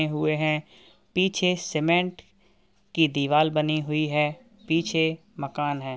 ने हुए हैं पीछे सीमेन्ट की दीवाल बनी हुई है पीछे मकान है |